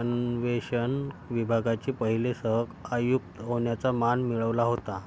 अन्वेषण विभागाचे पहिले सहआयुक्त होण्याचा मान मिळवला होता